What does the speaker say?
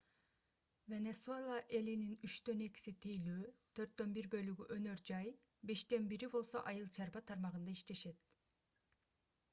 венесуэла элинин үчтөн экиси тейлөө төрттөн бир бөлүгү өнөр жай бештен бири болсо айыл чарба тармагында иштешет